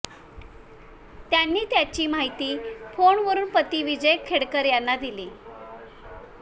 त्यांनी याची माहिती फोनवरून पती विजय खेडकर यांना दिली